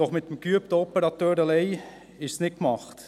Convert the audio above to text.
Doch mit dem geübten Operateur allein ist es nicht getan.